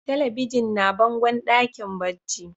Telebijin na bangon dakin barci.